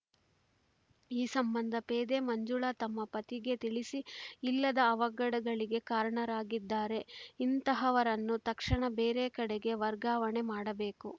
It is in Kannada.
ಈ ಸಂಬಂಧ ಪೇದೆ ಮಂಜುಳಾ ತಮ್ಮ ಪತಿಗೆ ತಿಳಿಸಿ ಇಲ್ಲದ ಅವಘಡಗಳಿಗೆ ಕಾರಣರಾಗಿದ್ದಾರೆ ಇಂತಹವರನ್ನು ತಕ್ಷಣ ಬೇರೆ ಕಡೆಗೆ ವರ್ಗಾವಣೆ ಮಾಡಬೇಕು